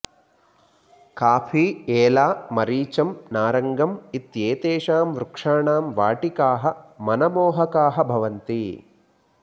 coffee एला मरीचम् नारङ्गम् इत्येतेषां वृक्षाणां वाटिकाः मनमोहकाः भवन्ति